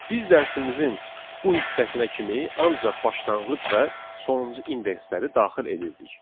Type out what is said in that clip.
Biz dərsimizin bu hissəsinə kimi ancaq başlanğıc və sonuncu indeksləri daxil edirdik.